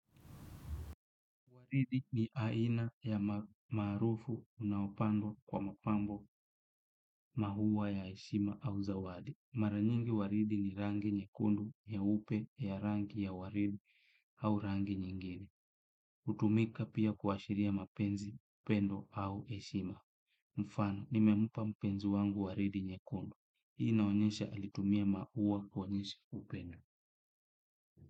Waridi ni aina ya maua unaopandwa kwa mapambo, na huwa ya heshima au zawadi. Mara nyingi waridi ni rangi nyekundu, nyeupe, ya rangi ya waridi au rangi nyingine. Hutumika pia kuashiria mapenzi, upendo au heshima. Mfano, nimempa mpenzi wangu waridi nyekundu. Inaonyesha alitumia maua kuonyesha upendo.